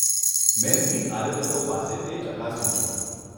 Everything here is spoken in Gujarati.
મેં મીટ આયોજકો પાસે તે ચકાસ્યું છે.